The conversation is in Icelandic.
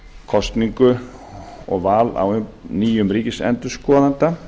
kosningu og val á nýjum ríkisendurskoðanda